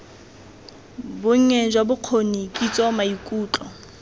bonnye jwa bokgoni kitso maikutlo